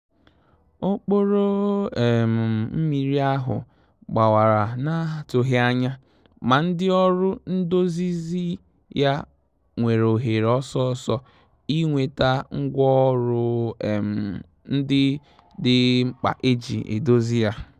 Òkpòrò um mmírí áhụ́ gbàwàrà n’á tụ́ghị́ ányà, mà ndị́ ọ́rụ́ ndòzízí yá nwéré òhéré ọ́sọ́ọ́sọ́ ì nwétà ngwá ọ́rụ́ um ndị́ dì mkpá éjí èdòzì yá.